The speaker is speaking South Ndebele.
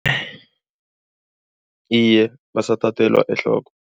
Iye, basathathelwa ehloko.